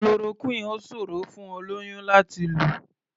Chloroquine ò ṣòrò fún olóyún láti lò.